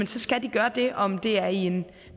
skal de gøre det og om det er i